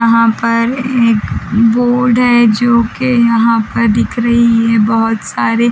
यहाँ पर एक बोर्ड है जोके यहाँ पर दिख रही है बहुत सारे--